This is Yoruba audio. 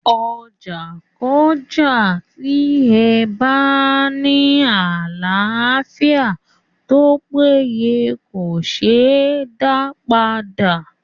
Ọjà kọ́jà tí ẹ bárà ní àlàáfíà tópéye kòseé dá padà.